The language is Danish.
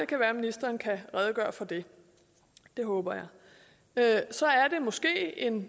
kan være at ministeren kan redegøre for det det håber jeg så er det måske en